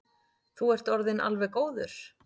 Þú ert orðinn alveg góður.